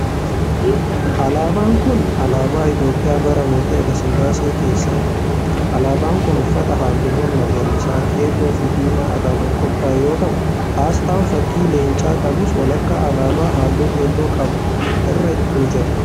Alaabaan kun, alaabaa Itoophiyaa bara mootii Hayilasillaasee keessa dha. Alaabaan kun uffata haalluuwwan magariisa, keelloo fi diimaa irraa kan qophaa'e yoo ta'u, asxaan fakkii leencaa qabus walakkaa alaabaa haalluu keelloo qabu irra ni jira.